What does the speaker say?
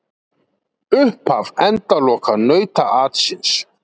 Upphaf endaloka nautaatsins